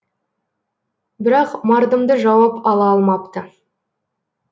бірақ мардымды жауап ала алмапты